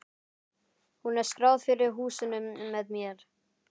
Hún er skráð fyrir húsinu með mér.